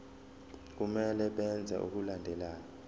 kumele benze okulandelayo